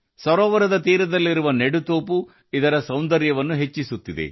ಸರೋವರದ ದಡದಲ್ಲಿ ಮರಗಳ ನೆಡುವಿಕೆ ತನ್ನ ಸೌಂದರ್ಯವನ್ನು ಹೆಚ್ಚಿಸುತ್ತಿದೆ